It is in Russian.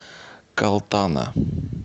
калтана